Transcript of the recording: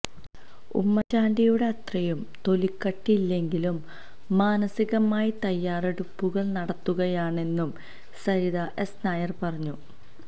ഉമ്മന്ചാണ്ടിയുടെ അത്രയും തൊലിക്കട്ടിയില്ലെങ്കിലും മാനസികമായി തയ്യാറെടുപ്പുകള് നടത്തുകയാണെന്നും സരിത എസ് നായര് പറഞ്ഞു